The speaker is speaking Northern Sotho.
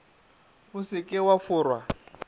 o se ke wa forwa